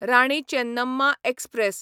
Rani Chennamma express